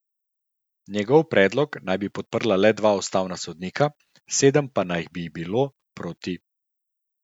Njegov predlog naj bi podprla le dva ustavna sodnika, sedem pa naj bi jih bilo proti.